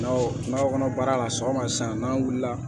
Naw nakɔ kɔnɔ baara la sɔgɔma san n'an wulila